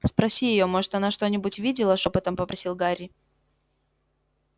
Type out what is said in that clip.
спроси её может она что-нибудь видела шёпотом попросил гарри